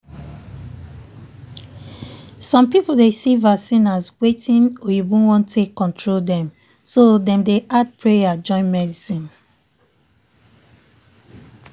some people dey see vaccine as watin oyibo wan take control dem so dem dey add pray join medicine.